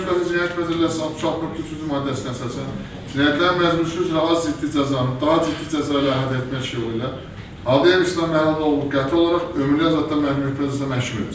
Azərbaycan Respublikası Cinayət Məcəlləsinin 63-cü maddəsinə əsasən cinayətlər məcbusu üzrə az ciddi cəzanı daha ciddi cəza ilə ədəməş yolu ilə Hadiyev İslam Məhəmməd oğlunu qəti olaraq ömürlük azadlıqdan məhrum etmə cəzasına məhkum edir.